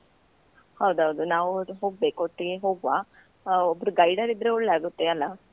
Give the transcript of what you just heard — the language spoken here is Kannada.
ಹೌದೌದು, ನಾವು ಹೋಗ್ಬೇಕು ಒಟ್ಟಿಗೆ ಹೋಗುವ, ಆ ಒಬ್ರು guider ಇದ್ರೆ ಒಳ್ಳೆ ಆಗುತ್ತೆ ಅಲ.